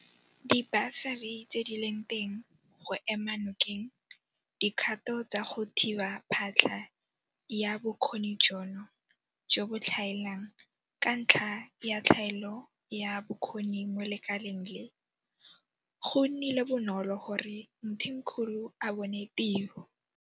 Dibasari tse di leng teng go ema nokeng dikgato tsa go thiba phatlha ya bokgoni jono jo bo tlhaelang Ka ntlha ya tlhaelo ya bokgoni mo lekaleng le, go nnile bonolo gore Mthimkhulu a bone tiro.